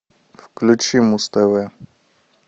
включи муз тв